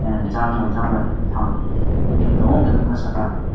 ah jang bo jang by bufang nugui tongo noka saka.